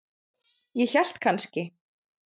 Ég hélt kannski.